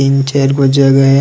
तीन चार गो जगह है।